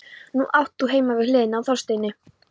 Nú átt þú heima við hliðina á Þorsteini.